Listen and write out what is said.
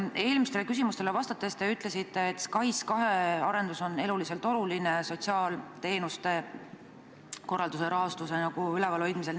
Eelmisele küsimusele vastates te ütlesite, et SKAIS2 arendus on eluliselt oluline sotsiaalteenuste korralduse rahastuse ülevalhoidmiseks.